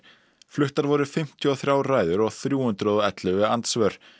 fluttar voru fimmtíu og þrjár ræður og þrjú hundruð og ellefu andsvör